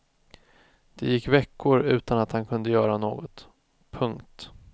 Det gick veckor utan att han kunde göra något. punkt